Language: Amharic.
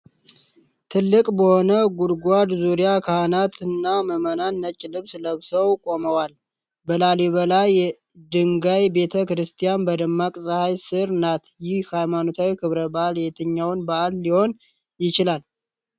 ጥልቅ በሆነ ጉድጓድ ዙሪያ ካህናትና ምዕመናን ነጭ ልብስ ለብሰው ቆመዋል። በላሊበላ የድንጋይ ቤተ ክርስቲያን በደማቅ ፀሐይ ስር ናት። ይህ ሃይማኖታዊ ክብረ በዓል የትኛው በዓል ሊሆን ይችላል?